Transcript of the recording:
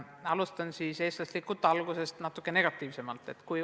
Alustan eestlaslikult natuke negatiivsemast.